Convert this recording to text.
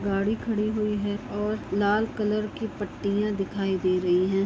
गाड़ी खड़ी हुई हैं और लाल कलर की पट्टियां दिखाई दे रही हैं।